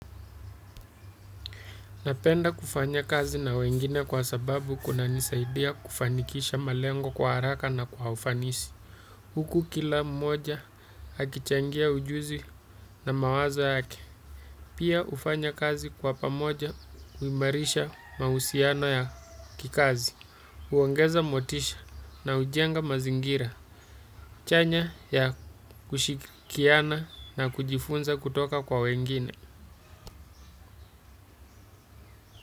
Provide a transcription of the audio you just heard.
Napenda kufanya kazi na wengine, kwa sababu kuna nisaidia kufanikisha malengo kwa haraka na kwa ufanisi. Huku, kila mmoja akichangia ujuzi na mawazo yake. Pia ufanya kazi kwa pamoja, uimarisha mahusiano ya kikazi. Uongeza motisha na ujenga mazingira. Chanya ya kushikiana na kujifunza kutoka kwa wengine.